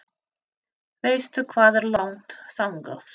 Veistu hvað er langt þangað?